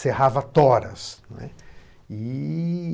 Cerrava toras, né, e